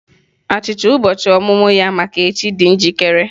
Achịcha ụbọchị ọmụmụ ya maka echi dị njikere.